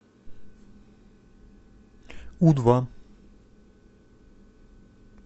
у два